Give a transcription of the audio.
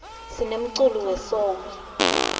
sinemculo we soul